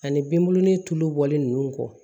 Ani binbulonnin tulu bɔlen ninnu kɔ